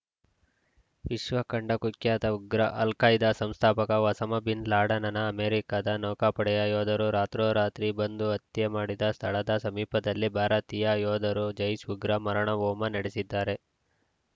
ವಿಶ್ವಕಂಡ ಕುಖ್ಯಾತ ಉಗ್ರ ಅಲ್‌ಖೈದಾ ಸಂಸ್ಥಾಪಕ ಒಸಾಮಾ ಬಿನ್‌ ಲಾಡೆನ್‌ನ ಅಮೆರಿಕದ ನೌಕಾಪಡೆಯ ಯೋಧರು ರಾತ್ರೋರಾತ್ರಿ ಬಂದು ಹತ್ಯೆ ಮಾಡಿದ ಸ್ಥಳದ ಸಮೀಪದಲ್ಲೇ ಭಾರತೀಯ ಯೋಧರು ಜೈಷ್‌ ಉಗ್ರರ ಮಾರಣ ಹೋಮ ನಡೆಸಿದ್ದಾರೆ